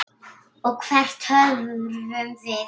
Og hvert horfum við?